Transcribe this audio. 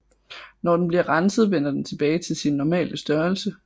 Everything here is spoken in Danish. Når den bliver renset vender den tilbage til sin normale størrelse